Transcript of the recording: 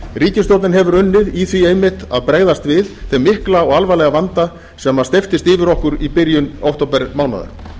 ríkisstjórnin hefur unnið í því einmitt að bregðast við þeim mikla og alvarlega vanda sem steyptist yfir okkur í byrjun októbermánaðar